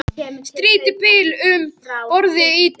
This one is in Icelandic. Stýrið bilaði um borð í trillu